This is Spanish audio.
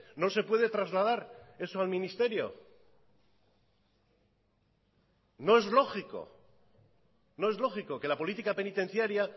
no se puede trasladar eso al ministerio no es lógico no es lógico que la política penitenciaria